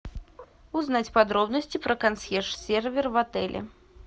узнать подробности про консьерж сервис в отеле